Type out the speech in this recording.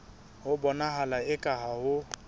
ho bonahala eka ha ho